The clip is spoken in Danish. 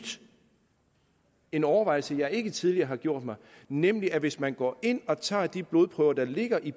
en overvejelse jeg ikke tidligere har gjort mig nemlig at hvis man går ind og tager de blodprøver der ligger i